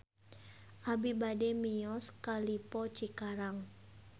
Abi bade mios ka Lippo Cikarang